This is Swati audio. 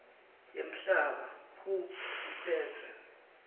yemhlaba who iphetse